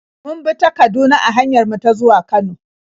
Mun bi ta Kaduna a hanyar mu ta zuwa Kano.